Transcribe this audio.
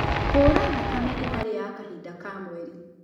Kuura thakame ĩtarĩ ya kahinda ka mweri.